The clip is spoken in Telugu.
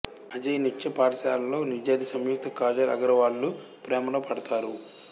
అజయ్ నృత్య పాఠశాలలో విద్యార్థి సంయుక్త కాజల్ అగర్వాల్ లు ప్రేమలో పడతారు